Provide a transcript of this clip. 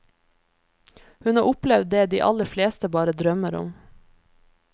Hun har opplevd det de aller fleste bare drømmer om.